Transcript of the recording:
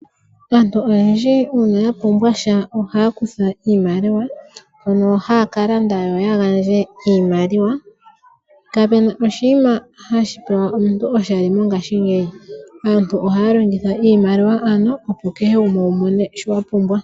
Aantu oyendji uuna ya pumbwasha oha ya kutha iimaliwa mbyono haya kalanda nayo. Kapu na oshinima hashi pewa omuntu oshali mongaashingeyi aantu ohaya longitha iimaliwa ano opo keegumwe wumone shoka wa pumbwa.